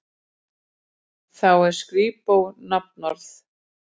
Þá er skrípó nafnorð.